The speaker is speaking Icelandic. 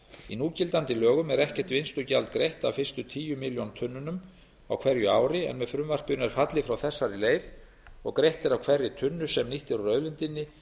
í núgildandi lögum er ekkert vinnslugjald greitt af fyrstu tíu milljón tunnunum á hverju ári en með frumvarpinu er fallið frá þessari leið og greitt er af hverri tunnu sem nýtt er úr auðlindinni